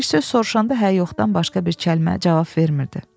Bir söz soruşanda hə yoxdan başqa bir kəlmə cavab vermirdi.